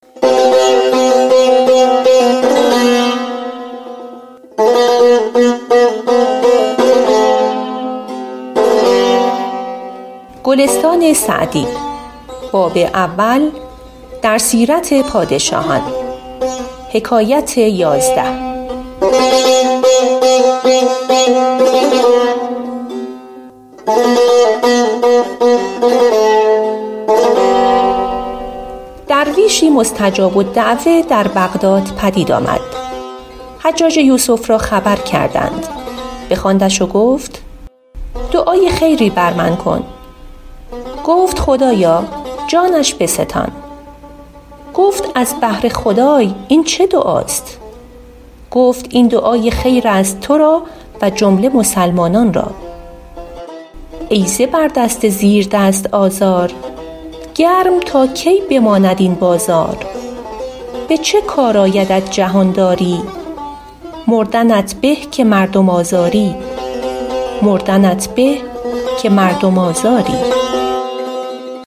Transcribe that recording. درویشی مستجاب الدعوة در بغداد پدید آمد حجاج یوسف را خبر کردند بخواندش و گفت دعای خیری بر من بکن گفت خدایا جانش بستان گفت از بهر خدای این چه دعاست گفت این دعای خیر است تو را و جمله مسلمانان را ای زبردست زیردست آزار گرم تا کی بماند این بازار به چه کار آیدت جهانداری مردنت به که مردم آزاری